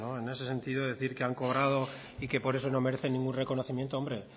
en ese sentido decir que han cobrado y que por eso no merecen ningún reconocimiento hombre